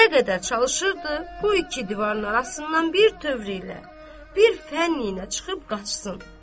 Nə qədər çalışırdı bu iki divarın arasından birtövr ilə, bir fənd ilə çıxıb qaçsın.